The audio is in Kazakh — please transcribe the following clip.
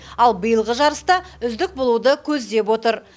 ал биылғы жарыста үздік болуды көздеп отыр